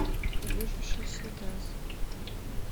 движущийся лес